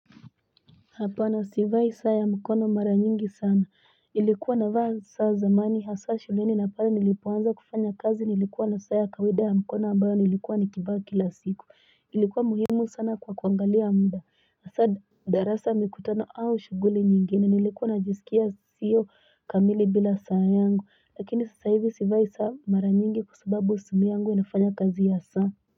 Hapana sivai saa ya mkono mara nyingi sana ilikuwa navaa saa zamani hasa shuleni na pale nilipoanza kufanya kazi nilikuwa na saa ya kawaida ya mkono ambayo nilikuwa nikivaa kila siku ilikuwa muhimu sana kwa kuangalia muda asa darasa mikutano au shuguli nyingine nilikuwa najisikia siyo kamili bila saa yangu lakini sasa hivi sivai saa mara nyingi kwa sababu simu yangu inafanya kazi ya saa.